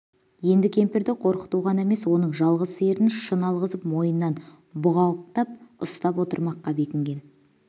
енді кемпірді қорқыту ғана емес оның жалғыз сиырын шын алғызып мойнынан бұғалықтап ұстап отырмаққа бекінген